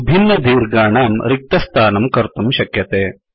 विभिन्नदीर्घानां रिक्तस्थानं कर्तुं शक्यते